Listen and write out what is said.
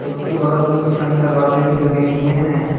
उसके बगल में कुछ अन्य दरवाजे भी लगे हुए हैं।